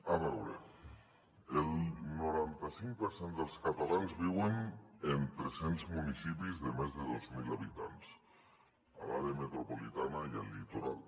a veure el noranta cinc per cent dels catalans viuen en tres cents municipis de més de dos mil habitants a l’àrea metropolitana i al litoral